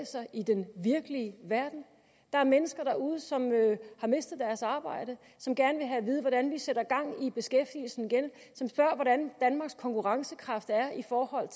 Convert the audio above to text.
sig i den virkelige verden der er mennesker derude som har mistet deres arbejde som gerne vil have at vide hvordan vi sætter gang i beskæftigelsen igen som spørger hvordan danmarks konkurrencekraft er i forhold